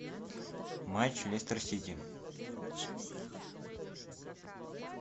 матч лестер сити